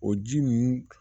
O ji ninnu